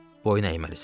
Boyun əyməlisən.